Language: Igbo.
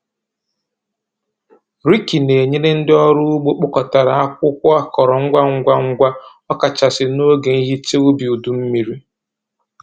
Riki na-enyere ndị ọrụ ugbo kpọkọtara akwụkwọ akọrọ ngwa ngwa, ngwa, ọkachasị n'oge ihicha ubi udu mmiri.